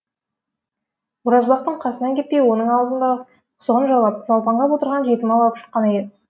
оразбақтың қасынан кетпей оның аузын бағып құсығын жалап жалпаңдап отырған жетім ала күшік қана еді